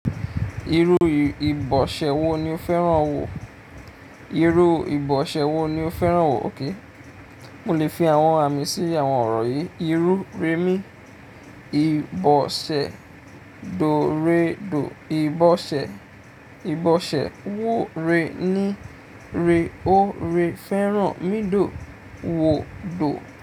Irú ìbọ̀ṣẹ́ wo ni o fẹ́ràn wò? Irú ìbọ̀ṣẹ́ wo ni o fẹ́ràn ókay? Mo lè fi àwọn àmì sí àwọn ọ̀rọ̀ yìí: Irú rẹmi, ìbọ̀ṣẹ́ dórẹ̀dọ̀, ìbọ̀ṣẹ́, ìbọ̀ṣẹ́ wọ́ọ̀rẹ́ níìrẹ́, óòrẹ́ fẹ́ràn mídòò wò dò.